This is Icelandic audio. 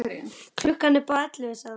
Klukkan er bara ellefu, sagði hún.